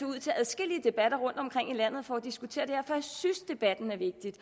ud til adskillige debatter rundtomkring i landet for at diskutere for jeg synes debatten er vigtig